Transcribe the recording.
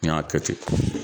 N y'a kɛ ten.